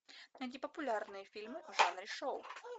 найди популярные фильмы в жанре шоу